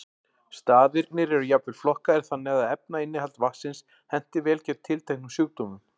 Staðirnir eru jafnvel flokkaðir þannig að efnainnihald vatnsins henti vel gegn tilteknum sjúkdómum.